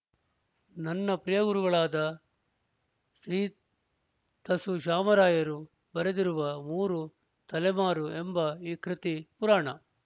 ನನ್ನ ಪ್ರಿಯಗುರುಗಳಾದ ಶ್ರೀ ತಸು ಶಾಮರಾಯರು ಬರೆದಿರುವ ಮೂರು ತಲೆಮಾರು ಎಂಬ ಈ ಕೃತಿ ಪುರಾಣ